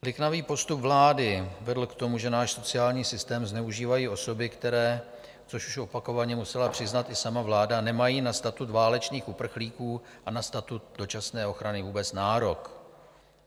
Liknavý postup vlády vedl k tomu, že náš sociální systém zneužívají osoby, které, což už opakovaně musela přiznat i sama vláda, nemají na statut válečných uprchlíků a na statut dočasné ochrany vůbec nárok.